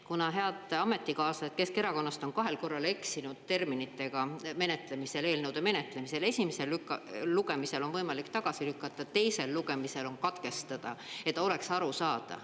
Kuna head ametikaaslased Keskerakonnast on kahel korral eksinud terminitega menetlemisel, eelnõude menetlemisel: esimesel lugemisel on võimalik tagasi lükata, teisel lugemisel on katkestada, et oleks aru saada.